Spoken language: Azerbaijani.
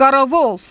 Qaravol!